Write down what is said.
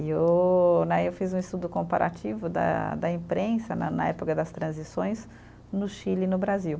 E eu né, eu fiz um estudo comparativo da da imprensa, né na época das transições, no Chile e no Brasil.